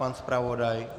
Pan zpravodaj?